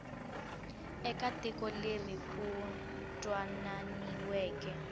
eka tiko leri ku twananiweke